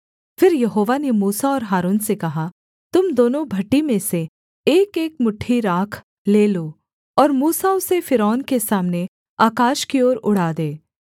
फिर यहोवा ने मूसा और हारून से कहा तुम दोनों भट्ठी में से एकएक मुट्ठी राख ले लो और मूसा उसे फ़िरौन के सामने आकाश की ओर उड़ा दे